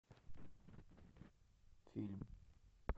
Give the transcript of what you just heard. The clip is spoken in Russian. фильм